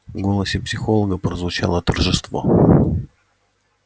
в голосе психолога прозвучало торжество